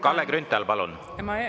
Kalle Grünthal, palun!